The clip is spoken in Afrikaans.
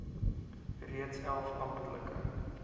reeds elf amptelike